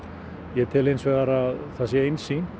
ég tel hins vegar það einsýnt